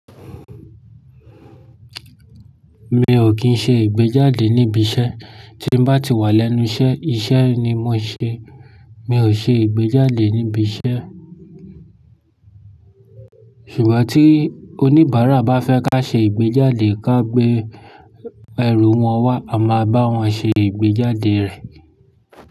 Mi ò kín ṣe ìgbéjáde níbi iṣẹ́, tí n bá ti wà lẹ́nu iṣẹ́, iṣẹ́ ni mo ṣe. Mi ò ṣe ìgbéjáde níbi iṣẹ́. Ṣùgbọ́n tí oníbàárà bá fẹ́ ká ṣe ìgbéjáde ká gbé ẹrú wọn wá, a máa bá wọn ṣe ìgbéjáde rẹ̀.